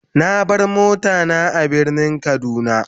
Na bar mota na a birnin kaduna.